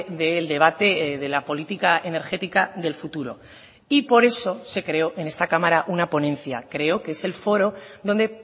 del debate de la política energética del futuro y por eso se creó en esta cámara una ponencia creo que es el foro donde